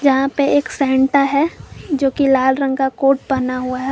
यहां पे एक सैंटा है जो की लाल रंग का कोट पहना हुआ है।